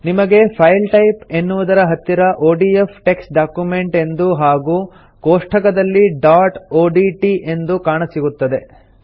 ನಿಮಗೆ file type ಎನ್ನುವುದರ ಹತ್ತಿರ ಒಡಿಎಫ್ ಟೆಕ್ಸ್ಟ್ ಡಾಕ್ಯುಮೆಂಟ್ ಎಂದು ಹಾಗೂ ಕೋಷ್ಠಕದಲ್ಲಿ ಡಾಟ್ ಒಡಿಟಿ ಎಂದು ಕಾಣಸಿಗುತ್ತದೆ